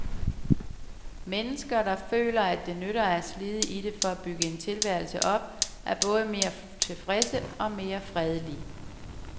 Mennesker, der føler, at det nytter at slide i det for at bygge en tilværelse op, er både mere tilfredse og mere fredelige.